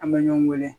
An bɛ ɲɔgɔn weele